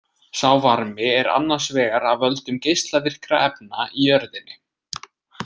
Sá varmi er annars vegar af völdum geislavirkra efna í jörðinni.